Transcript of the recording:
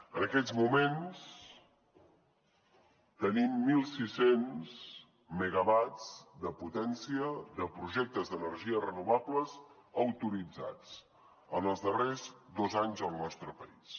en aquests moments tenim mil sis cents megawatts de potència de projectes d’energies renovables autoritzats en els darrers dos anys al nostre país